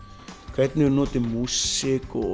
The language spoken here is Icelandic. hvernig við notum músík og